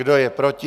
Kdo je proti?